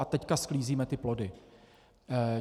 A teď sklízíme ty plody.